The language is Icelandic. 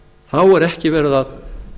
þá er ekki verið að